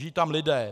Žijí tam lidé.